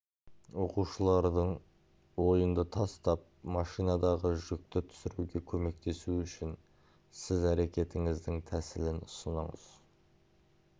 оқушылардың ойынды тастап машинадағы жүкті түсіруге көместесуі үшін сіз әрекетіңіздің тәсілін ұсыңыз